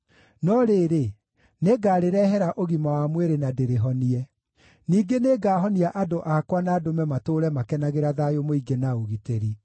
“ ‘No rĩrĩ, nĩngarĩrehera ũgima wa mwĩrĩ na ndĩrĩhonie. Ningĩ nĩngahonia andũ akwa na ndũme matũũre makenagĩra thayũ mũingĩ na ũgitĩri.